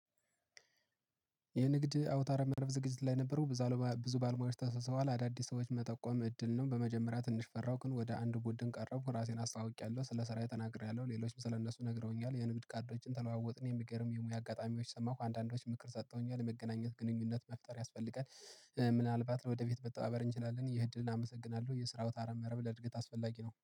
የንግድ አውታረ መረብ ዝግጅት ላይ የነበረው ብዙ ባለሙያዎች ታሰብስበዋል። አዳዲስ ሰዎች መጠቆም እድል ነው በመጀመሪያ ትንሽ ፈራው ግን ወደ አንድ ቡድን ቀረብኩ። ራሴን አስታውቄያለሁ ስለ ስራዬ ተናግሬያለ፤ ሌሎችም ስለ እነሱ ነግረውኛል፤ የንግድ ካርዶችን ተለዋወጥን፤ የሚገርም የሙያ አጋጣሚዎች ሰማሁ። አንዳንዶች ምክር ሰጥተውኛል። የመገናኘት ግንኙነት መፍጠር ያስፈልጋል። ምናልባት ወደ ፈት መተባበር እንችላለን። ይህ ዕድልን አመሰግናለሁ። የስራው አውታረ መረብ ለእድገት አስፈላጊ ነው።